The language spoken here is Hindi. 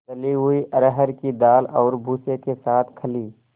दली हुई अरहर की दाल और भूसे के साथ खली